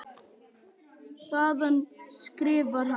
Þaðan skrifar hann